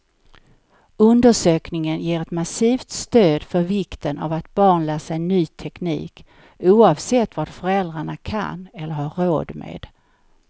Undersökningen ger ett massivt stöd för vikten av att barn lär sig ny teknik, oavsett vad föräldrarna kan eller har råd med.